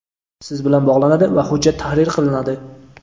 siz bilan bog‘lanadi va hujjat tahrir qilinadi.